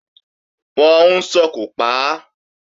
Wọ́n ń sòkò pa á